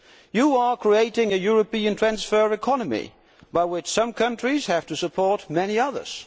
You are creating a European transfer economy by which some countries have to support many others.